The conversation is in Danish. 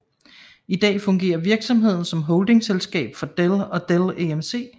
I dag fungerer virksomheden som holdingselskab for Dell og Dell EMC